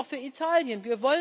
Das gilt auch für Italien.